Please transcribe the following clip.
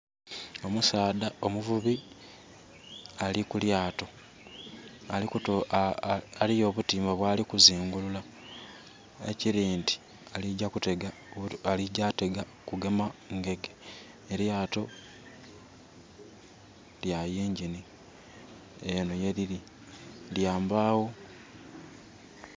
Omusadha omuvubi ali ku lyato eriyo obutimba bwali ku zingulula ekiri nti aligya kutega kugema ngege. Elyato lya yingini. Enho yelili lyambagho.